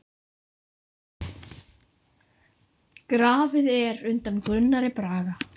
En þar dró hún mörkin.